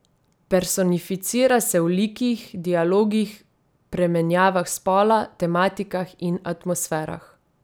Personificira se v likih, dialogih, premenjavah spola, tematikah in atmosferah.